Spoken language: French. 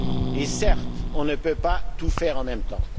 Et certes, on ne peut pas tout faire en même temps.